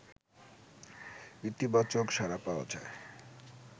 ইতিবাচক সাড়া পাওয়া যায়